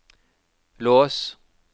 lås